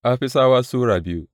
Afisawa Sura biyu